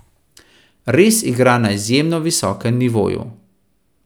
Res igra na izjemno visokem nivoju.